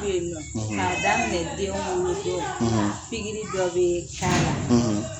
Pigiri dɔ bɛ yen nɔ k'a daminɛ den wolodon pigiri dɔ bɛ k'ala